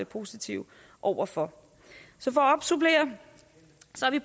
positive over for så